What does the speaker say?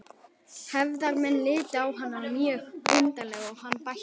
Hefðarmenn litu á hann mjög undrandi og hann bætti við